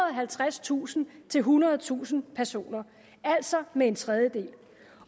og halvtredstusind til ethundredetusind personer altså med en tredjedel